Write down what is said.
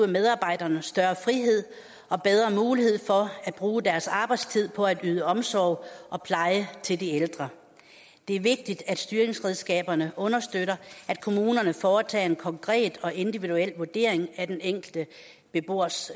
medarbejderne større frihed og bedre mulighed for at bruge deres arbejdstid på at yde omsorg og pleje til de ældre det er vigtigt at styringsredskaberne understøtter at kommunerne foretager en konkret og individuel vurdering af den enkelte beboers